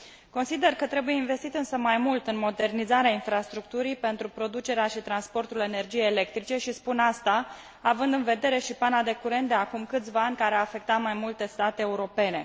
Consider că trebuie investit însă mai mult în modernizarea infrastructurii pentru producerea și transportul energiei electrice și spun asta având în vedere și pana de curent de acum câțiva ani, care a afectat mai multe state europene.